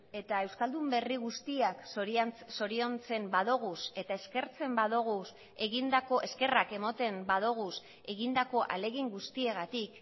eta euskaldun berri guztiak zoriontzen badoguz eta eskerrak emoten badoguz egindako ahalegin guztiagatik